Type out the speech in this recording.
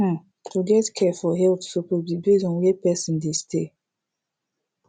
hmm to get care for health suppose be base on where person dey stay